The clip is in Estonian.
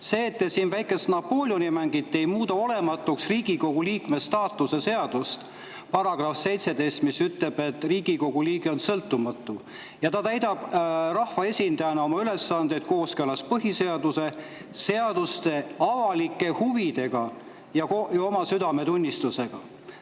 See, et te siin väikest Napoleoni mängite, ei muuda olematuks Riigikogu liikme staatuse seaduse § 17, mis ütleb, et Riigikogu liige on sõltumatu ja ta täidab rahvaesindaja ülesandeid kooskõlas põhiseaduse, seaduste, avalike huvide ja oma südametunnistusega.